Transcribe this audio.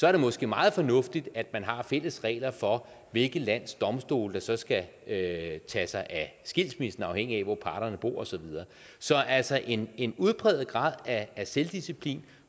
er det måske meget fornuftigt at man har fælles regler for hvilket lands domstol der skal tage sig af skilsmissen afhængigt af hvor parterne bor og så videre så altså en en udpræget grad af selvdisciplin